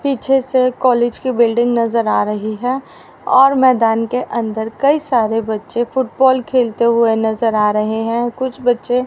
पीछे से कॉलेज की बिल्डिंग नजर आ रही है और मैदान के अंदर कई सारे बच्चे फुटबॉल खेलते हुए नजर आ रहे हैं कुछ बच्चे--